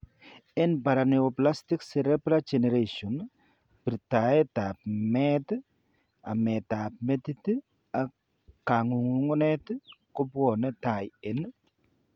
En paraneoplastic cerebellar degeneration, birtaet ab met, amet ab metit ak kang'ung'unet kobwane tai en